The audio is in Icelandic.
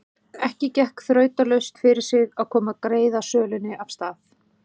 Ekki gekk þrautalaust fyrir sig að koma greiðasölunni af stað.